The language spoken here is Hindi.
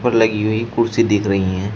लगी हुई कुर्सी दिख रही है।